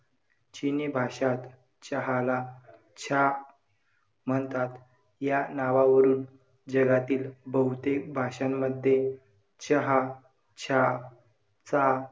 चिनी भाषांत चहाला छा म्हणतात. या नावावरून जगातील बहुतेक भाषांमध्ये चहा, छा, चा,